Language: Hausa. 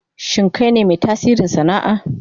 Shin kai ne mai tasiri sana'a?